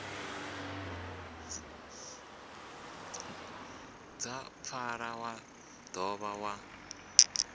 dza pfala wa dovha wa